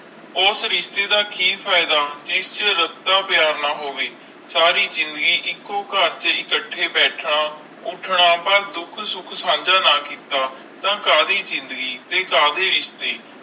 ਉਸ ਰਿਸ਼ਤੇ ਦਾ ਕਿ ਜਿੰਦੇ ਚ ਕਾਟਾ ਪਿਆਰ ਨਾ ਹੋਵੇ ਸਾਰੀ ਜ਼ਿੰਦਗੀ ਇਕੋ ਕਰ ਚ ਇਖ਼ਟੀ ਬੈਤਾ ਉੱਠਣਾ ਦੁੱਖ ਸੁਖ ਸੰਜੈ ਨਾ ਕੀਤਾ ਤਾ ਕਦੀ ਜ਼ਿੰਦਗੀ ਕਦੇ ਰਿਸ਼ਤੇ